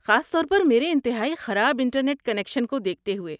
خاص طور پر میرے انتہائی خراب انٹرنیٹ کنکشن کو دیکھتے ہوئے۔